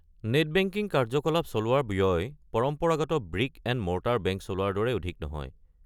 Net banking কাৰ্য্যকলাপ চলোৱাৰ ব্যয় পৰম্পৰাগত ব্ৰিক এণ্ড মৰ্টাৰ বেংক চলোৱাৰ দৰে অধিক নহয়।